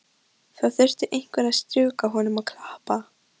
Það þurfti einhver að strjúka honum og klappa.